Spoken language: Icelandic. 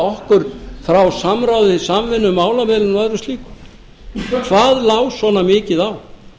okkur frá samráði samvinnu og málamiðlun og öðru slíku hvað lá svona mikið á